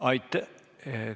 Aitäh!